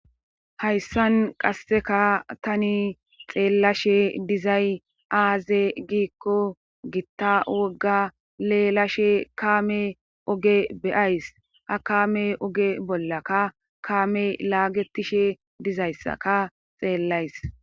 Hayssan qasseka tani xeellashe dizay aaze giikko gitta wogga leelashe kaame oge beyays a kame oge bollakka kaame laagetishe dizayssaka xeellays.